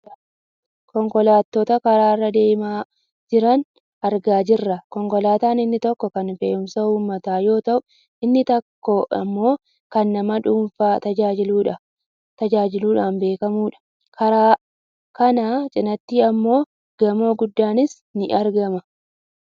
Konkolaattota karaa irra deemaa jiran argaa jirra. Konkolaataan inni tokko kan fe'umsa uummataa yoo ta'u inni tokko ammoo kan nama dhuunfaa tajaajiluudhaan beekkamtudha. Karaa kana cinaatti ammoo gamoo guddaanis ni argama.